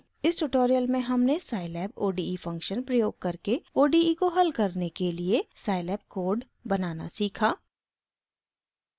इस ट्यूटोरियल में हमने scilab ode फंक्शन प्रयोग करके ode को हल करने के लिए scilab कोड बनाना सीखा